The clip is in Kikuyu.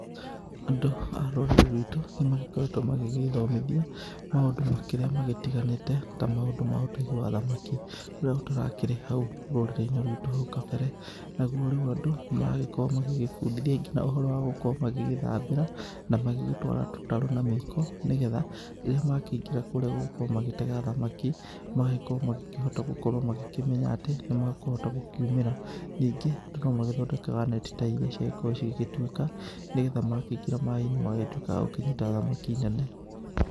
Andũ a rũrĩrĩ rwitũ nĩ makoretwo magĩgĩĩthomithia maũndũ makĩria magĩtiganĩte ta maũndũ ma ũtegi wa thamaki, ũria ũtarakĩrĩ hau rũrĩrĩ-inĩ rwitũ haũ kabere. Naguo rĩu andũ magagĩkorwo magĩgĩbundithia ngina ũhoro wa gũkorwo magĩgĩthambĩra na magĩgĩtwara tũtarũ na mĩiko nĩ getha, rĩrĩa makĩingĩra kũrĩa gũgĩkorwo magĩtega thamaki magagĩkorwo magĩkĩhota gũkorwo magĩkĩmenya atĩ nĩ makũhota gũkiumĩra. Ningĩ no magĩthondekaga neti ta iria cigagĩkorwo cigĩgĩtuĩka nĩ getha makĩingĩra maaĩ-inĩ magagĩtuĩka agũkĩnyita thamaki nene.